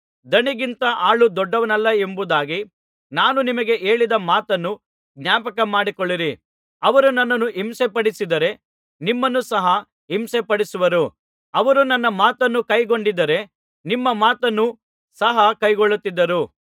ದಣಿಗಿಂತ ಆಳು ದೊಡ್ಡವನಲ್ಲವೆಂಬುದಾಗಿ ನಾನು ನಿಮಗೆ ಹೇಳಿದ ಮಾತನ್ನು ಜ್ಞಾಪಕ ಮಾಡಿಕೊಳ್ಳಿರಿ ಅವರು ನನ್ನನ್ನು ಹಿಂಸೆಪಡಿಸಿದರೆ ನಿಮ್ಮನ್ನು ಸಹ ಹಿಂಸೆಪಡಿಸುವರು ಅವರು ನನ್ನ ಮಾತನ್ನು ಕೈಗೊಂಡಿದ್ದರೆ ನಿಮ್ಮ ಮಾತನ್ನು ಸಹ ಕೈಗೊಳ್ಳುತ್ತಿದ್ದರು